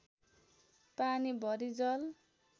पानी भरि जल